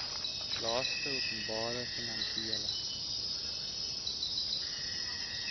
laste openbare finansiële